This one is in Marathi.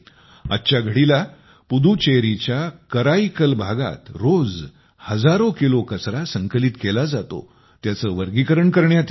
आज घडीला पुदुचेरीच्या कराईकल भागात रोज हजारो किलो संकलित केला जातो त्याचे वर्गीकरण करण्यात येते